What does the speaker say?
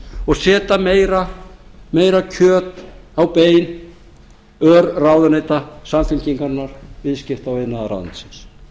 og setja meira og meira kjöt á bein örráðuneyta samfylkingarinnar viðskipta og iðnaðarráðuneytisins